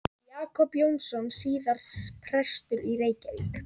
Jakob Jónsson, síðar prestur í Reykjavík.